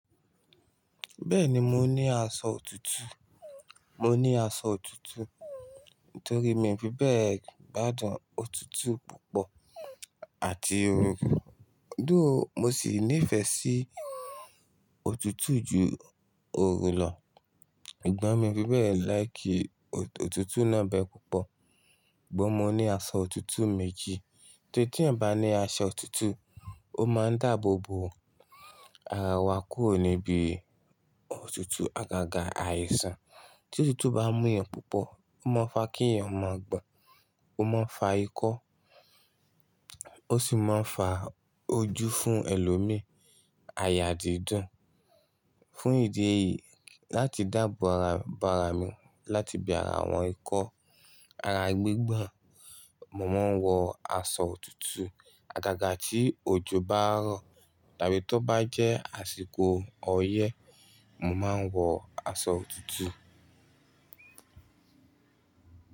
Bẹ́ẹ̀ni mo ní aṣọ òtútù, mo ní aṣọ òtútù nítorí mi fi bẹ́ẹ̀ gbádùn òtútù púpọ̀ àti òrù. Dóò, mo sì nífẹ̀ẹ́ sí òtútù ju òrù lọ. Sugbọ́n mi fi bẹ́ẹ̀ láì kí òtútù náà bẹ́ẹ̀ púpọ̀. Sugbon mo ní aṣọ òtútù méjì. Torí tí ẹ̀yan bà ni aṣọ òtútù, ó máa ń dáàbò bo ara wa kúrò níbi òtútù àgàgà àìsàn. Tí òtútù bá mú yẹn púpọ̀, ó máa ń fa kí èèyàn máa gbọ́n, ó máa ń fa ikọ́, ó sì máa ń fa ojú fún ẹlòmí aya dídùn. Fún ìdí èyí, láti dáàbò ara bara mi láti bí ara àwọn ikọ́ ara gbígbọ̀n, mo máa ń wọ aṣọ òtútù àgàgà tí òjò bá rọ̀ tàbí tí ó bá jẹ́ àsìkò ọyẹ́, mo máa ń wọ aṣọ òtútù.